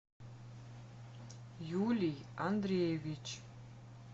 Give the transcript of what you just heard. юлий андреевич